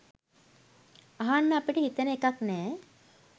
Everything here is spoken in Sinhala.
අහන්න අපිට හිතෙන එකක් නෑ